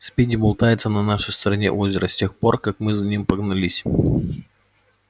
спиди болтается на нашей стороне озера с тех пор как мы за ним погнались